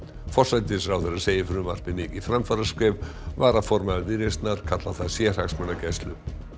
forsætisráðherra segir frumvarpið mikið framfaraskref varaformaður Viðreisnar kallar það sérhagsmunagæslu